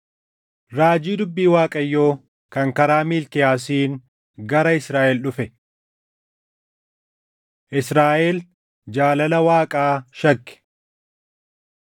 Raajii dubbii Waaqayyoo kan karaa Miilkiyaasiin gara Israaʼel dhufe. Israaʼel Jaalala Waaqaa Shakke